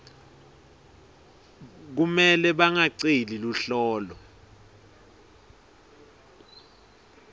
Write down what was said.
kumele bangaceli luhlolo